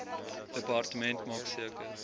departement maak seker